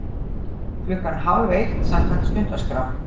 Klukkan hálfeitt samkvæmt stundaskrá.